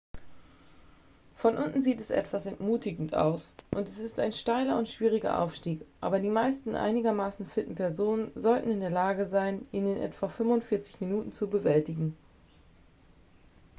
von unten sieht es etwas entmutigend aus und es ist ein steiler und schwieriger aufstieg aber die meisten einigermaßen fitten personen sollten in der lage sein ihn in etwa 45 minuten zu bewältigen